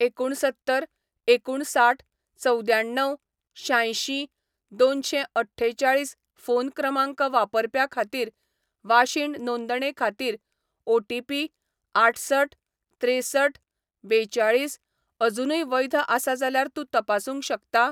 एकुणसत्तर एकुणसाठ चवद्याण्णव शांयशीं दोनशेंअठ्ठेचाळीस फो न क्रमांक वापरप्या खातीर वाशीन नोंदणे खातीर ओटीपी आठसठ त्रेसठ बेचाळीस अजूनय वैध आसा जाल्यार तूं तपासूंक शकता?